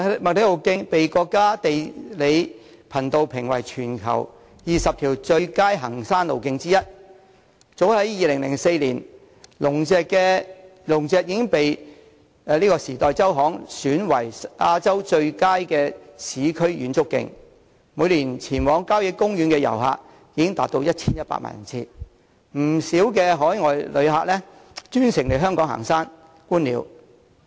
麥理浩徑被國家地理頻道評為全球20條最佳行山路徑之一，而早在2004年，龍脊便獲《時代周刊》選為亞洲最佳市區遠足徑，每年前往郊野公園的遊客達 1,100 萬人次，不少海外旅客更專程來港行山、觀鳥。